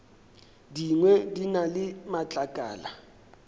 dingwe di na le matlakala